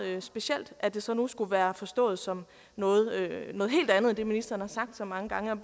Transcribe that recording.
specielt at det så nu skulle være forstået som noget helt andet end det ministeren har sagt så mange gange